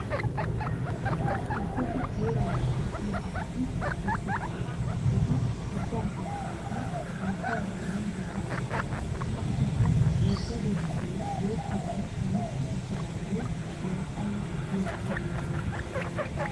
Ichchashu seeraa naagissiya asati tuttidosona. Eta ubbaa sinttankka haattay hayilanddiyaara uttis. Qassikka wogga deskkee boottaban kametti uttiidaagee naa"ay diyagee beettes.